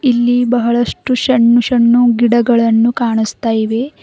ಇಲ್ಲಿ ಬಹಳಷ್ಟು ಷನ್ನು ಷನ್ನು ಗಿಡಗಳನ್ನು ಕಾಣಿಸ್ತಾ ಇವೆ.